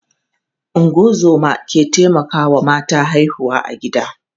Ungozoma ke taimakawa mata haihuwa a gida.